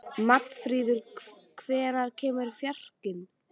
Magnfríður, hvenær kemur fjarkinn?